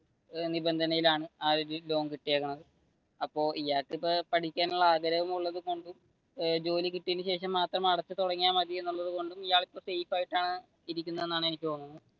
എന്നൊരു നിബന്ധനയിലാണ് ആ ഒരു ലോൺ കിട്ടിയിരിക്കുന്നത് അപ്പൊ ഇയാൾക്ക് ഇപ്പൊ പഠിക്കണം എന്നുളള ആഗ്രഹം ഉള്ളതുകൊണ്ടും ജോലി കിട്ടിയതിനു ശേഷം മാത്രം, അടച്ചു തുടങ്ങിയ മതി എന്നുള്ളത് കൊണ്ടും ഇയാൾ ഇപ്പൊ സേഫ് ആയിട്ടാണ് ഇരിക്കുന്നതാണ് എനിക്ക് തോന്നുന്നത്.